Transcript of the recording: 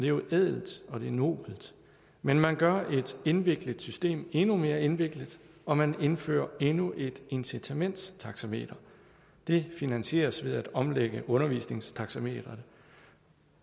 jo ædelt og det er nobelt men man gør et indviklet system endnu mere indviklet og man indfører endnu et incitamentstaxameter det finansieres ved at omlægge undervisningstaxameteret